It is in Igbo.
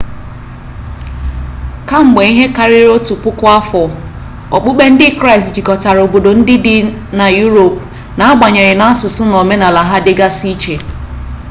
kamgbe ihe karịrị otu puku afọ okpukpe ndị kraịst jikọtara obodo ndị dị na yuropu n'agbanyeghị na asụsụ na omenala ha dịgasị iche